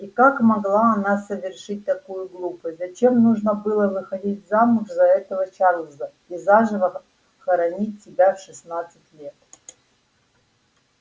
и как могла она совершить такую глупость зачем нужно было выходить замуж за этого чарлза и заживо хоронить себя в шестнадцать лет